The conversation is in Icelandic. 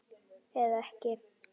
Eða ekki!